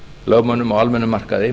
lögmönnum á almennum markaði